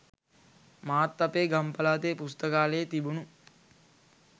මාත් අපේ ගම් පළාතේ පුස්තකාලේ තිබුණු